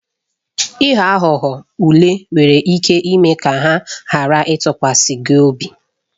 Ịghọ aghụghọ ule nwere ike ime ka ha ghara ịtụkwasị gị obi.